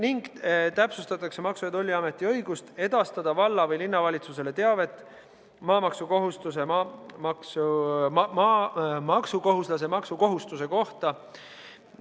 Täpsustatakse Maksu- ja Tolliameti õigust edastada valla- või linnavalitsusele teavet maksukohustuslase maksukohustuse kohta.